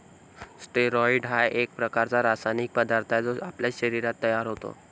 Steroids हा एक प्रकारचा रासायनिक पदार्थ आहे, जो आपल्या शरीरात तयार होतो.